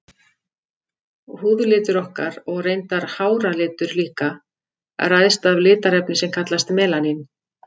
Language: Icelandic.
Húðlitur okkar, og reyndar háralitur líka, ræðst af litarefni sem kallast melanín.